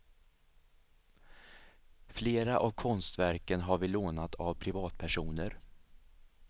Flera av konstverken har vi lånat av privatpersoner.